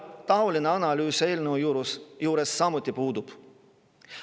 Taoline analüüs eelnõu juures samuti puudub.